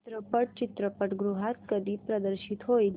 चित्रपट चित्रपटगृहात कधी प्रदर्शित होईल